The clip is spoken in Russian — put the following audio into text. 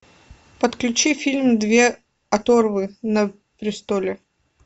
подключи фильм две оторвы на престоле